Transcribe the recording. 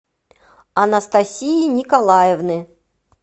анастасии николаевны